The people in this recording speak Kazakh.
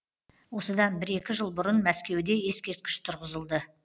осыдан бір екі жыл бұрын мәскеуде ескерткіш тұрғызылды